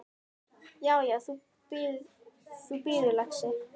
Já, já. þú bíður, lagsi!